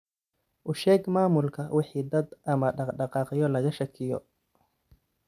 U sheeg maamulka wixii dad ama dhaqdhaqaaqyo laga shakiyo.